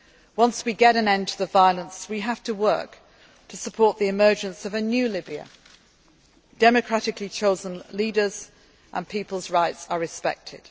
in Libya. Once we get an end to the violence, we have to work to support the emergence of a new Libya with democratically chosen leaders and where people's rights